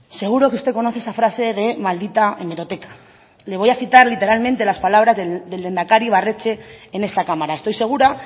seguro que usted conoce esa frase de maldita hemeroteca le voy a citar literalmente las palabras del lehendakari ibarretxe en esta cámara estoy segura